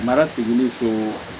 Mara tiliko